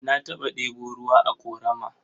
Na taɓa ɗebo ruwa a ƙorama.